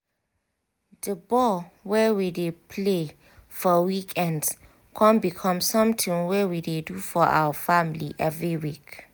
di ball wey we dey play for weekends con become something wey we dey do for our family every week